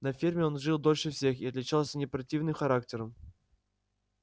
на ферме он жил дольше всех и отличался не противным характером